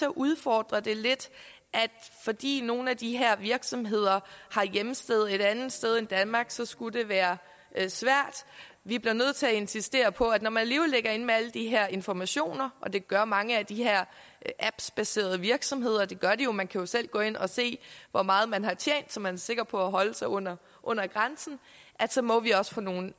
at udfordre det lidt at fordi nogle af de her virksomheder har hjemsted et andet sted end danmark så skulle det være svært vi bliver nødt til at insistere på at når man alligevel ligger inde med alle de her informationer og det gør mange af de her apps baserede virksomheder og det gør de jo man kan selv gå ind og se hvor meget man har tjent så man er sikker på at holde sig under under grænsen så må vi også få nogle